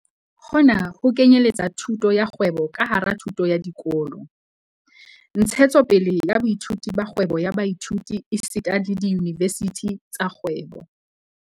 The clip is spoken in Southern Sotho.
Hona ho kenyeletsa thuto ya kgwebo ka hara thuto ya dikolo, ntshetsopele ya boithuti ba kgwebo ya baithuti esita le diyunivesithi tsa kgwebo.